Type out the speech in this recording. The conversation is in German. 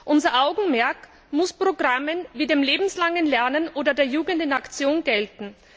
Unser Augenmerk muss Programmen wie dem lebenslangen Lernen oder der Jugend in Aktion gelten.